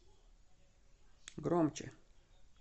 громче